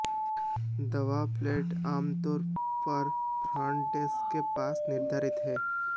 दबाव प्लेटें आमतौर पर फ्रंट डेस्क के पास निर्धारित हैं